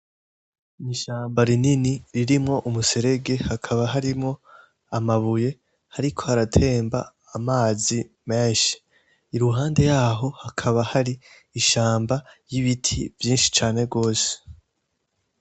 Ishamba rinini ririmwo umuserege hakaba harimwo amabuye hariko haratemba amazi menshi, iruhande yaho hari ishamba ry'ibiti vyinshi cane gose.